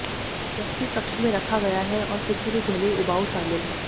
व्यक्ति कक्ष में रखा गया है और किसी भी ध्वनि उबाऊ शामिल हैं